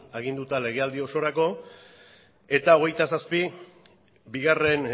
aginduta legealdi osorako eta hogeita zazpi bigarren